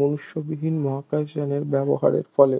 মনুষ্যবিহীন মহাকাশযানের ব্যবহারের ফলে